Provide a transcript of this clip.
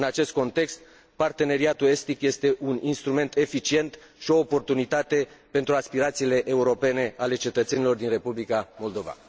În acest context, parteneriatul estic este un instrument eficient și o oportunitate pentru aspirațiile europene ale cetățenilor din Republica Moldova.